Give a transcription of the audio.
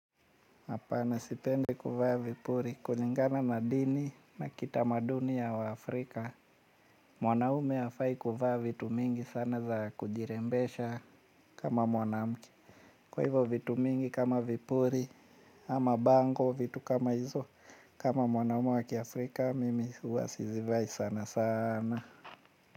Hapana sipendi kuvaa vipuri. Kulingana na dini na kitamaduni ya waafrika mwanaume hafai kuvaa vitu mingi sana za kujirembesha kama mwanamke. Kwa hivyo vitu mingi kama vipuri ama bango vitu kama hizo. Kama mwanaume wa kiafrika mimi huwa sizivai sana sana.